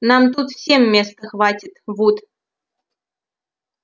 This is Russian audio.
нам тут всем места хватит вуд